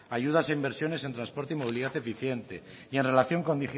ayudas en inversiones de transporte y movilidad eficiente y en relación con